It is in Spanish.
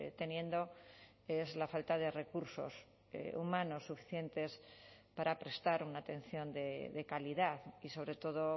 teniendo es la falta de recursos humanos suficientes para prestar una atención de calidad y sobre todo